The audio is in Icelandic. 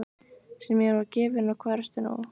Sem mér var gefinn og hvar ertu nú.